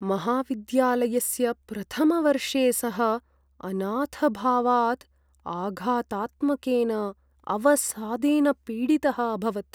महाविद्यालयस्य प्रथमवर्षे सः अनाथभावात् आघातात्मकेन अवसादेन पीडितः अभवत्।